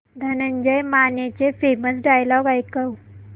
धनंजय मानेचे famous dialogue ऐकव